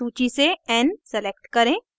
सूची से n select करें